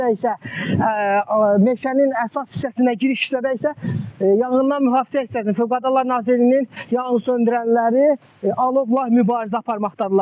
Yuxarı hissədə isə meşənin əsas hissəsinə giriş hissədə isə yanğından mühafizə hissəsinin Fövqəladalar Nazirliyinin yanğınsöndürənləri alovla mübarizə aparmaqdadırlar.